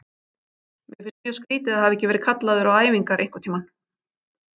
Mér finnst mjög skrýtið að hafa ekki verið kallaður á æfingar einhverntímann.